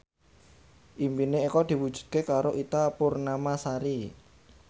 impine Eko diwujudke karo Ita Purnamasari